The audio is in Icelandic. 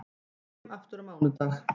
Ég kem aftur á mánudag.